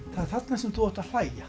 þarna sem þú átt að hlæja